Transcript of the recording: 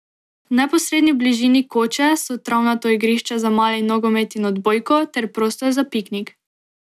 V neposredni bližini koče so travnato igrišče za mali nogomet in odbojko ter prostor za piknik.